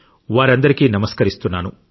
వారందరికీ నమస్కరిస్తున్నాను